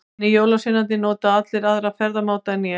Hinir jólasveinarnir nota allir aðra ferðamáta en ég.